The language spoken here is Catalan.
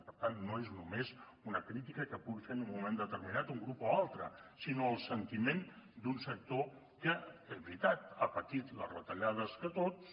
per tant no és només una crítica que pugui fer en un moment determinat un grup o altre sinó el sentiment d’un sector que és veritat ha patit les retallades que tots